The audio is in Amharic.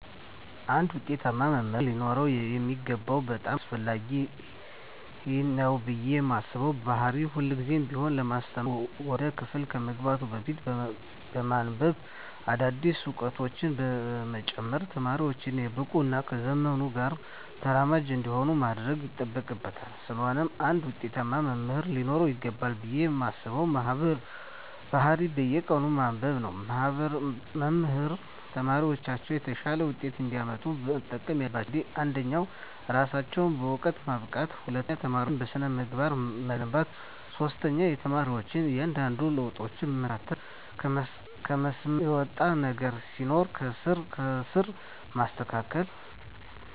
አንድ ውጤታማ መምህር ሊኖረው የሚገባው በጣም አስፈላጊ ነው ብየ ማስበው ባህሪ ሁልግዜም ቢሆን ለማስተማር ወደ ክፍል ከመግባቱ በፊት በማንብበ አዳዲስ እውቀቶችን በመጨመር ተማሪወቹን የበቁ እና ከዘመኑ ጋር ተራማጅ እንዲሆኑ ማድረግ ይጠበቅበታል ስለሆነም አንድ ውጤታማ መምህር ሊኖረው ይገባል ብየ ማስበው ባህሪ በየቀኑ ማንበብ ነው። መምህራን ተማሪወቻቸው የተሻለ ውጤት እንዲያመጡ መጠቀም ያለባቸው ዘዴወች አንደኛ እራሳቸውን በእውቀት ማብቃት፣ ሁለተኛ ተማሪወቻቸውን በስነ-ምግባር መገንባት፣ ሶስተኛ የተማሪወቻቸውን እያንዳንዷን ለውጣቸውን መከታተልና ከመስመር የወጣ ነገር ሲኖር ከስር ከስር ማስተካከል።